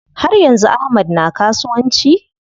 Har yanzu Ahmad na kasuwanci?